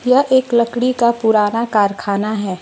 यह एक लकड़ी का पुराना कारखाना है।